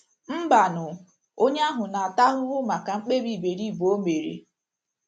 Mbanụ, onye ahụ na - ata ahụhụ maka mkpebi iberibe o mere.